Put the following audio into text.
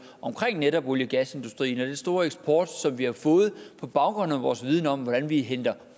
omkring netop olie og gasindustrien og den store eksport som vi har fået på baggrund af vores viden om hvordan vi henter